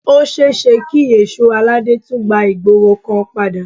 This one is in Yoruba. Ó ṣeéṣe kí èsó aládé tún gba ìgboro kan padà